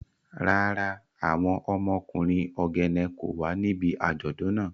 Rara, awọn ọmọkunrin Ogene ko wa nibi ajọdun naa.